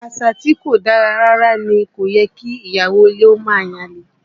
Àṣà tí kò dára rárá ní, kò yẹ kí ìyàwó ilé ó máa yan àlè